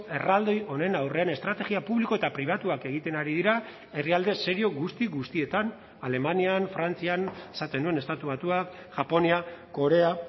erraldoi honen aurrean estrategia publiko eta pribatuak egiten ari dira herrialde serio guzti guztietan alemanian frantzian esaten nuen estatu batuak japonia korea